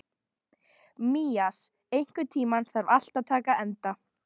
Mías, einhvern tímann þarf allt að taka enda.